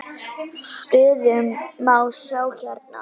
Stöðuna má sjá hérna.